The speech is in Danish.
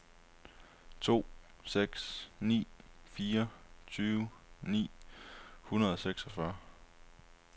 to seks ni fire tyve ni hundrede og seksogfyrre